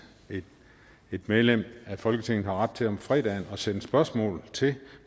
et medlem af folketinget har ret til om fredagen at sende spørgsmål til